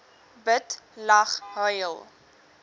bid lag huil